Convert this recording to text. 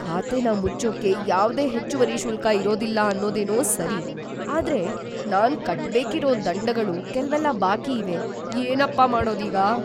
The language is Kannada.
ಖಾತೆನ ಮುಚ್ಚೋಕೆ ಯಾವ್ದೇ ಹೆಚ್ಚುವರಿ ಶುಲ್ಕ ಇರೋದಿಲ್ಲ ಅನ್ನೋದೇನೋ ಸರಿ, ಆದ್ರೆ ನಾನ್‌ ಕಟ್ಬೇಕಿರೋ ದಂಡಗಳು ಕೆಲ್ವೆಲ್ಲ ಬಾಕಿಯಿವೆ. ಏನಪ್ಪ ಮಾಡೋದೀಗ?!